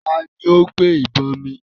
Taàní ó gbé ìbọn mi?